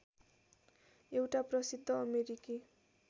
एउटा प्रसिद्ध अमेरिकी